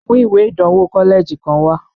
Mu ìwé ìdánwò kọ́lẹ́ẹ̀jì kan wá!